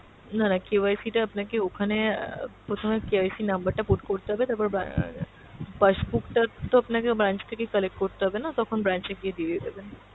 না না KYC টা আপনাকে ওখানে অ্যাঁ প্রথমে KYC number টা put করতে হবে, তারপরে আহ passbook টা তো আপনাকে branch থেকে collect করতে হবেনা তখন branch এ গিয়ে দিয়ে দেবেন।